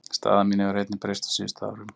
Staða mín hefur einnig breyst á síðustu árum.